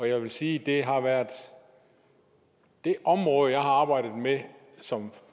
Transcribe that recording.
jeg vil sige at det har været det område jeg har arbejdet med som